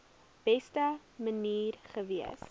beste manier gewees